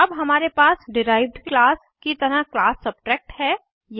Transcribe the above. अब हमारे पास डिराइव्ड क्लास की तरह क्लास सबट्रैक्ट है